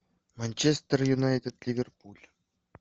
манчестер юнайтед ливерпуль